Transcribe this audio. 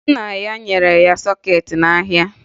Nna ya na-ere sọkeetị n'ahịa